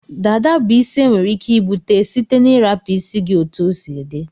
Dada bu isi enwere ike ibute site na irapu isi gi otu osi di.